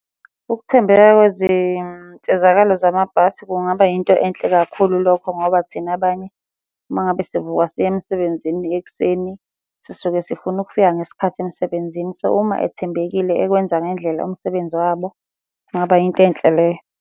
Ukuthembeka kwezinsizakalo zamabhasi kungaba yinto enhle kakhulu lokho ngoba thina abanye, uma ngabe sivuka siya emsebenzini ekuseni, sisuke sifuna ukufika ngesikhathi emsebenzini. So, uma ethembekile ekwenza ngendlela umsebenzi wabo, kungaba yinto enhle leyo.